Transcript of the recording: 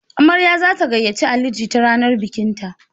Amarya za ta gayyace Ali jita ranar bikinta.